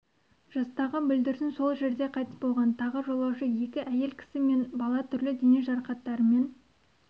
жастағы бүлдіршін сол жерде қайтыс болған тағы жолаушы екі әйел кісі мен бала түрлі дене жарақаттарымен